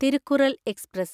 Thirukkural express